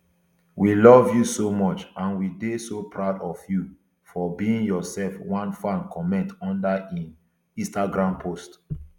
we love you so much and we dey so proud of you for being yourself one fan comment under im instagram post